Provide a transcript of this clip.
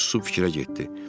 Sonra o susub fikrə getdi.